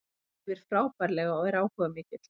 Hann æfir frábærlega og er áhugamikill.